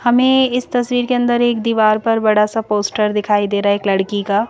हमें इस तस्वीर के अंदर एक दीवार पर बड़ा सा पोस्टर दिखाई दे रहा है एक लड़की का।